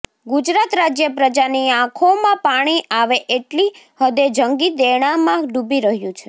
ગુજરાત રાજય પ્રજાની આંખોમાં પાણી આવે એટલી હદે જંગી દેણામાં ડૂબી રહ્યું છે